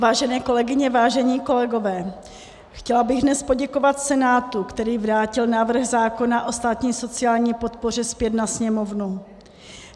Vážené kolegyně, vážení kolegové, chtěla bych dnes poděkovat Senátu, který vrátil návrh zákona o státní sociální podpoře zpět na Sněmovnu.